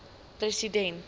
president fw de